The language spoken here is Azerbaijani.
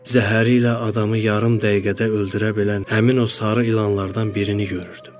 Zəhəri ilə adamı yarım dəqiqədə öldürə bilən həmin o sarı ilanlardan birini görürdüm.